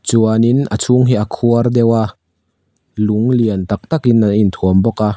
chuan in a chhung hi a khuar deuh a lung lian tak tak in an inthuam bawk a.